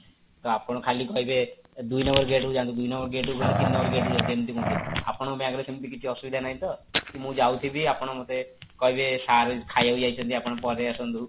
ତ ଆପଣ ଖାଲି କହିବେ ଦୁଇ number gate କୁ ଯାଅନ୍ତୁ ଦୁଇ number gate କୁ ଗଲେ ତିନି number gate କୁ ଯାଅନ୍ତୁ ଏମିତି କୁହନ୍ତି ଆପଣଙ୍କ bank ରେ ସେମିତି କିଛି ଅସୁବିଧା ନାହିଁ ତ କି ମୁଁ ଯାଉଥିବି ଆପଣ ମୋତେ କହିବେ sir ଖାଇବାକୁ ଯାଇଛନ୍ତି ଆପଣ ପରେ ଆସନ୍ତୁ